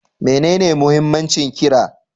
Menene muhimmancin ƙira?